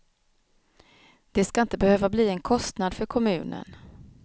Det ska inte behöva bli en kostnad för kommunen.